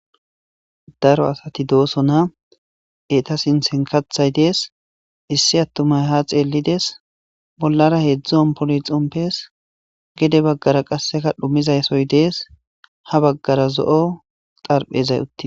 Daro asati dooso na eta sinsenkathay dees issi attumay ha xeellides bollara heedzdzon poli xompes gede baggara qasseka dhumizaysoy dees ha baggara zo'o xarphezay utie.